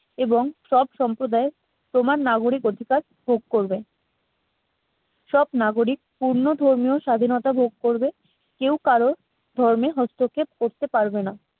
এবং সব সম্প্রদায় সমান নাগরিক অধিকার ভোগ করবে সব নাগরিক পূর্ণ ধর্মীয় স্বাধীনতা ভোগ করবে কেউ কারো ধর্মে হস্তক্ষেপ করতে পারবে না।